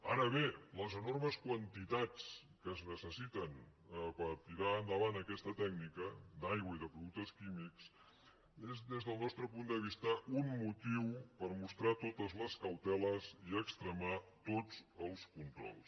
ara bé les enormes quantitats que es necessiten per tirar endavant aquesta tècnica d’aigua i de productes químics és des del nostre punt de vista un motiu per mostrar totes les cauteles i extremar tots els controls